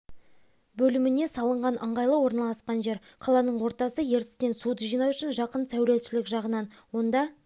бөліміне салынған ыңғайлы орналасқан жер қаланың ортасы ертістен суды жинау үшін жақын сәулетшілік жағынан онда